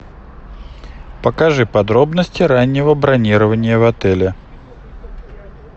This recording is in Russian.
покажи подробности раннего бронирования в отеле